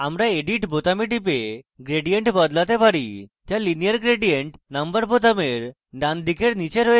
আমরা edit বোতামে টিপে gradient বদলাতে পারি যা linear gradient number বোতামের ডানদিকের নীচে রয়েছে